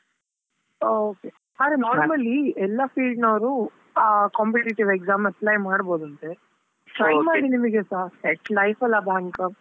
Okay , ಆದ್ರೆ normally ಎಲ್ಲಾ field ನವ್ರು ಆ competitive exam apply ಮಾಡ್ಬೋದು ಅಂತೆ. ಮಾಡಿ ನಿಮಿಗೆ ಸಾ set life ಅಲ bank .